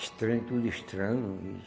Estranho, tudo estranho.